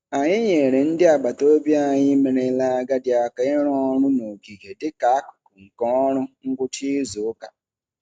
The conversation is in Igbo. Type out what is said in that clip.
Anyị nyeere ndị agbataobi anyị merela agadi aka ịrụ ọrụ n'ogige dị ka akụkụ nke ọrụ ngwụcha izuụka.